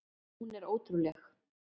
Hún er ótrúleg!